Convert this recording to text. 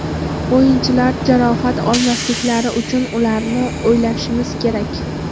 O‘yinchilar jarohat olmasliklari uchun ularni o‘ylashimiz kerak.